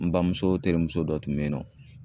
N bamuso terimuso dɔ tun bɛ yen nɔ